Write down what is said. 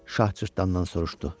Şah cırtdandan soruşdu.